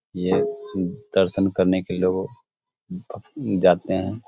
ये द-दर्शन करने के लिए लोग जाते हैं।